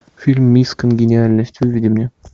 фильм мисс конгениальность выведи мне